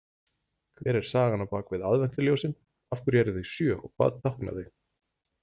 Hver er sagan bak við aðventuljósin, af hverju eru þau sjö og hvað tákna þau?